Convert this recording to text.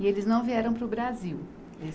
E eles não vieram para o Brasil?